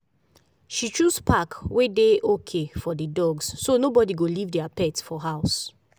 she choose park wey dey okay for for dogs so nobody go leave their pet for house.